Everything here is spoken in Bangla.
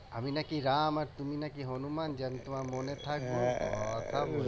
আমি নাকি রাম আর তুমি নাকি হনুমান যে আমি তোমার মনে থাকবো কথা